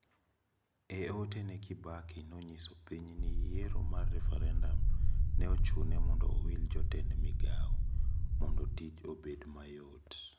E ote ne Kibaki nonyiso piny ni yiero mar refarendam neochune mondo owil jotend migao. Mondo tich obed mayot.